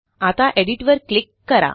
आता एडिट वर क्लिक करा